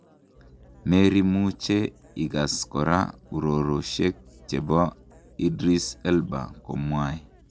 Merimuche ikas kora uroroshek chepo Idris Elba komwae.